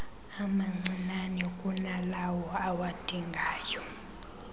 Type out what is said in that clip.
amancinnane kunalawo awadingayo